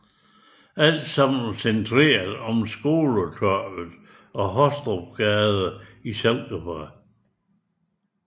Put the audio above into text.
Alt sammen centreret omkring Skoletorvet og Hostrupsgade i Silkeborg